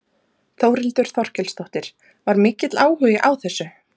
Þórhildur Þorkelsdóttir: Var mikill áhugi á þessu?